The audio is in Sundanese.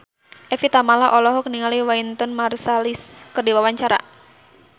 Evie Tamala olohok ningali Wynton Marsalis keur diwawancara